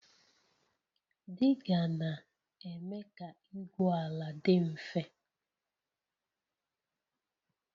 Diga na-eme ka igwu ala dị mfe